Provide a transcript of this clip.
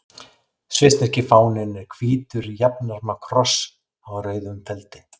Svissneski fáninn er hvítur jafnarma kross á rauðum feldi.